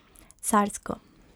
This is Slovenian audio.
Carsko.